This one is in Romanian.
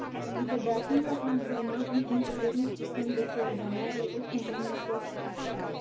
Însă de atunci s a transformat într un puternic sistem de coordonare economică și fiscală.